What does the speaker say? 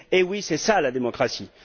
Eh oui, c'est ça la démocratie!